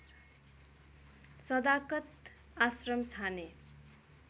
सदाकत आश्रम छाने